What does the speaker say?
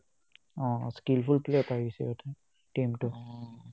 অ, skill full player পাই গৈছে সিহতে team টোয়ে